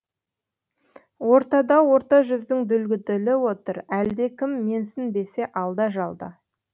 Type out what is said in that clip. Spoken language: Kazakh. ортада орта жүздің дүлдүлі отыр әлде кім менсінбесе алда жалда